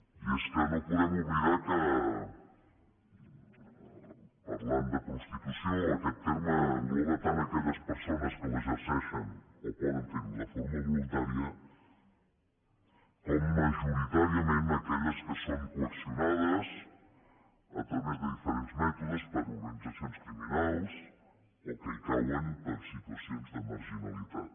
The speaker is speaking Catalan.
i és que no podem oblidar que parlant de prostitució aquest terme engloba tant aquelles persones que l’exerceixen o poden fer ho de forma voluntària com majoritàriament aquelles que són coaccionades a través de diferents mètodes per organitzacions criminals o que hi cauen per situacions de marginalitat